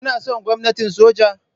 Kuna son gwamnatin soja?